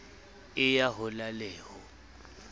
e ya hola le ho